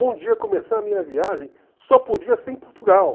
Um dia começar a minha viagem só podia ser em Portugal.